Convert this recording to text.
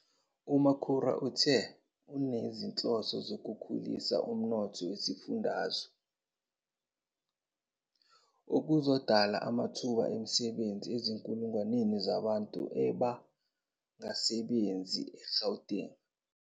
UMakhura uthe unezinhloso zokukhulisa umnotho wesifundazwe, okuzodala amathuba emisebenzi ezinkulungwaneni zabantu abangasebenzi eGauteng.